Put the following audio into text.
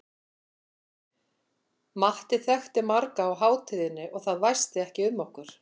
Matti þekkti marga á hátíðinni og það væsti ekki um okkur.